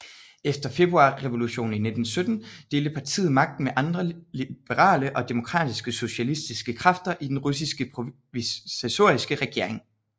Efter Februarrevolutionen i 1917 delte partiet magten med andre liberale og demokratiske socialistiske kræfter i den russiske provisoriske regering